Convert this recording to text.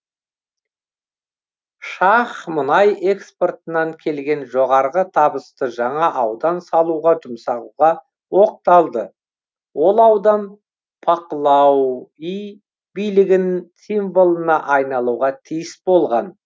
шах мұнай экспортынан келген жоғарғы табысты жаңа аудан салуға жұмсауға оқталды ол аудан пақлауи билігін символына айналуға тиіс болған